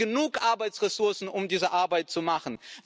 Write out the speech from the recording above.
Hat sie genug Arbeitsressourcen, um diese Arbeit zu machen?